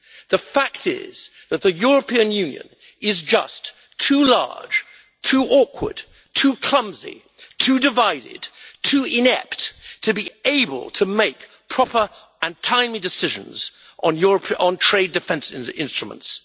The fact is that the European Union is just too large, too awkward, too clumsy, too divided, too inept, to be able to make proper and timely decisions on trade defence instruments.